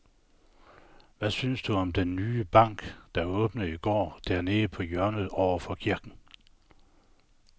Hvad synes du om den nye bank, der åbnede i går dernede på hjørnet over for kirken?